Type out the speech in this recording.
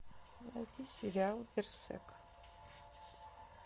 найди сериал берсерк